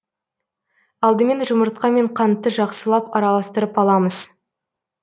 алдымен жұмыртқа мен қантты жақсылап араластырып аламыз